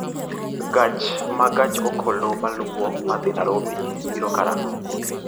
Gach ma gach okolomaluwo madhi nairobi biro karang'o